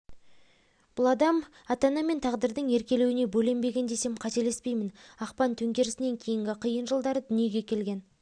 бұл адам ата-ана мен тағдырдың еркелеуіне бөленбеген десем қателеспеймін ақпан төңкерісінен кейінгі қиын жылдары дүниеге келген